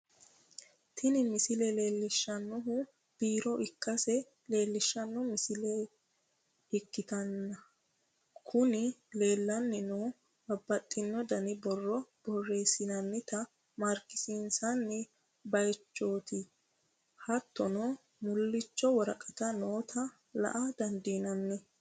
Tini misile leellishshannohu biiro ikkase leellishshanno misile ikkitanna, kunino leellanni noohu bababxxino dani borro borreessinoonita marekisiinsoonni bayichooti, hattono, mullichu woraqatino noota la'a dandiinanni.